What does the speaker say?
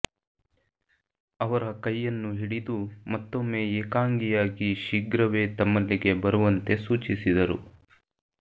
ಅವರ ಕೈಯನ್ನು ಹಿಡಿದು ಮತ್ತೊಮ್ಮೆ ಏಕಾಂಗಿಯಾಗಿ ಶೀಘ್ರವೇ ತಮ್ಮಲ್ಲಿಗೆ ಬರುವಂತೆ ಸೂಚಿಸಿದರು